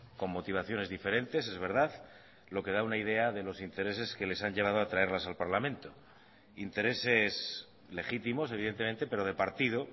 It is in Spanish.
con motivaciones diferentes es verdad lo que da una idea de los intereses que les han llevado a traerlas al parlamento intereses legítimos evidentemente pero de partido